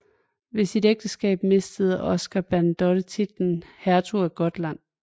Ved sit ægteskab mistede Oscar Bernadotte titlen hertug af Gotland